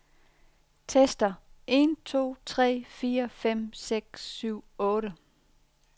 Tester en to tre fire fem seks syv otte.